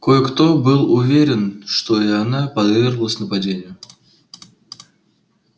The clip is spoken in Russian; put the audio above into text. кое-кто был уверен что и она подверглась нападению